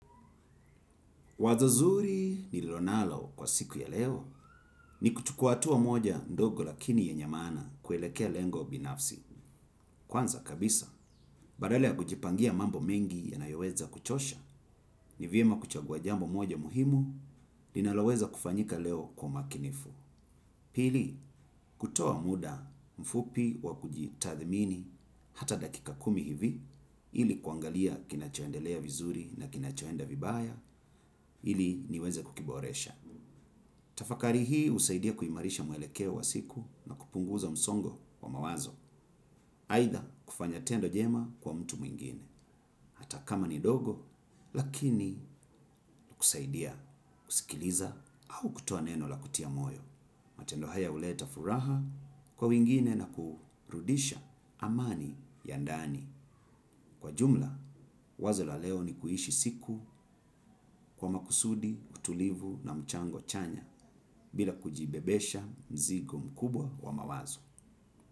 Wazo zuri nililo nalo kwa siku ya leo ni kuchukua hatua moja ndogo lakini yenye maana kuelekea lengo binafsi. Kwanza kabisa, badala ya kujipangia mambo mengi ya yanayoweza kuchosha ni vyema kuchagua jambo moja muhimu linaloweza kufanyika leo kwa umakinifu. Pili, kutoa muda mfupi wa kujitathimini hata dakika kumi hivi ili kuangalia kinachoendelea vizuri na kinachoenda vibaya ili niweze kukiboresha. Tafakari hii husaidia kuimarisha mwelekeo wa siku na kupunguza msongo wa mawazo. Aidha kufanya tendo jema kwa mtu mwingine hata kama ni dogo lakini kusaidia kusikiliza au kutoa neno la kutia moyo. Matendo haya huleta furaha kwa wengine na kurudisha amani ya ndani. Kwa jumla, wazo la leo ni kuishi siku kwa makusudi, utulivu na mchango chanya bila kujibebesha mzigo mkubwa wa mawazo.